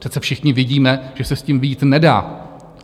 Přece všichni vidíme, že se s tím vyjít nedá!